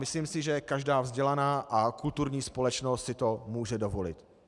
Myslím si, že každá vzdělaná a kulturní společnost si to může dovolit.